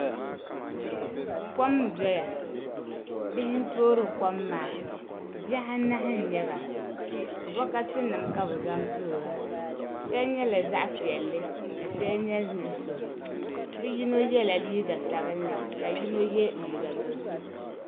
Kom n doya bihi n toori kom maa bihi anahi n nyɛba bokati nim ka bi zaŋ toora shɛli nyɛla zaɣ piɛlli ka shɛli nyɛ nuɣso bi so yɛla liiga sabinli kayino yɛ liiga dozim